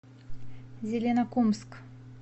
зеленокумск